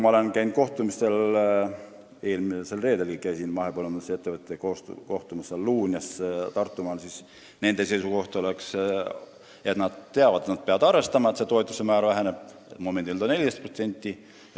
Ma olen käinud kohtumistel – eelmisel reedelgi kohtusin mahepõllundusettevõtetega Luunjas Tartumaal – ja seisukoht on olnud selline, et ettevõtted teavad seda, et nad peavad arvestama toetuste määrade vähenemisega, mis praegu on 14%.